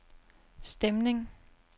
stemning